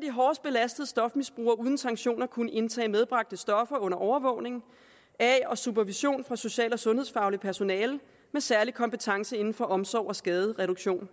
de hårdest belastede stofmisbrugere uden sanktioner kunne indtage medbragte stoffer under overvågning af og supervision fra social og sundhedsfagligt personale med særlig kompetence inden for omsorg og skadereduktion